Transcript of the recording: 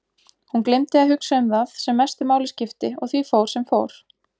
Hún gleymdi að hugsa um það sem mestu máli skipti og því fór sem fór.